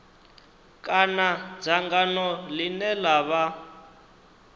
kana dzangano ḽine ḽa vha